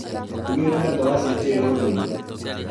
ndugĩte mboga cia kĩ ũndũire